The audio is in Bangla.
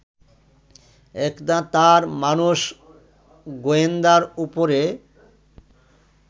একদা তাঁর মানস-গোয়েন্দার উপরে